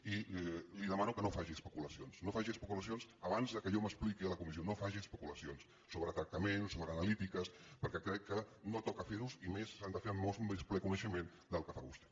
i li demano que no faci especulacions no faci especulacions abans que jo m’expliqui a la comissió no faci especulacions sobre tractaments sobre analítiques perquè crec que no toca ferlos i a més s’han de fer amb molt més ple coneixement del que fa vostè